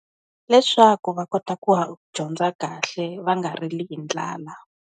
Leswaku va kota ku dyondza kahle, va nga rili hi ndlala.